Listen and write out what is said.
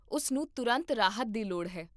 ਉਸ ਨੂੰ ਤੁਰੰਤ ਰਾਹਤ ਦੀ ਲੋੜ ਹੈ